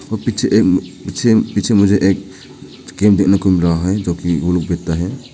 पीछे पीछे पीछे मुझे एक गेम देखने को मिल रहा है जो कि है।